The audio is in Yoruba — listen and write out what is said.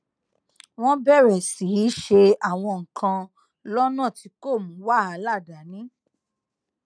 wón bèrè sí í ṣe àwọn nǹkan lónà tí kò mú wàhálà dání